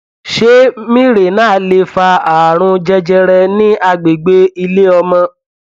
ṣé mirena lè fa ààrùn jẹjẹrẹ ní agbègbè ilé ọmọ